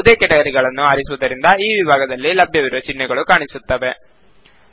ಯಾವುದೇ ವಿಭಾಗವನ್ನು ಆರಿಸುವುದರಿಂದ ಆ ವಿಭಾಗದಲ್ಲಿ ಲಭ್ಯವಿರುವ ಚಿಹ್ನೆಗಳು ಕಾಣಿಸುತ್ತವೆ